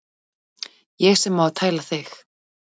Ég sem á að tæla þig.